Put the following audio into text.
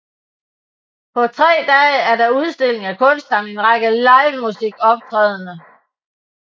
På tre dage er der udstillinger af kunst samt en række livemusikoptrædender